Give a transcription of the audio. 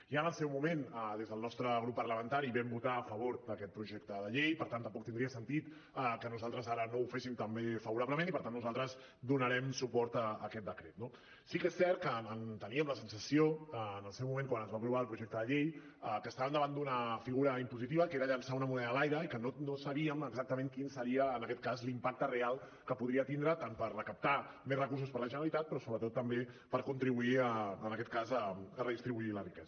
ja en el seu moment des del nostre grup parlamentari vam votar a favor d’aquest projecte de llei per tant tampoc tindria sentit que nosaltres ara no ho féssim també favorablement i per tant nosaltres donarem suport a aquest decret no sí que és cert que teníem la sensació en el seu moment quan es va aprovar el projecte de llei que estàvem davant d’una figura impositiva que era llançar una moneda a l’aire i que no sabíem exactament quin seria en aquest cas l’impacte real que podria tindre tant per recaptar més recursos per a la generalitat però sobretot també per contribuir a redistribuir la riquesa